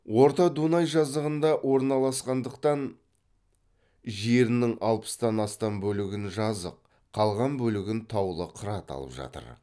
орта дунай жазығында орналасқандықтан жерінің алпыстан астам бөлігін жазық қалған бөлігін таулы қырат алып жатыр